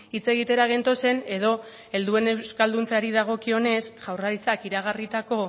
hitz egitera gentozen edo helduen euskalduntzeari dagokionez jaurlaritzak iragarritako